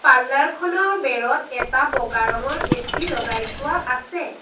Parlour খনৰ বেৰত এটা বগা ৰঙৰ এ_চি লগাই থোৱা আছে।